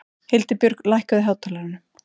Hildibjörg, lækkaðu í hátalaranum.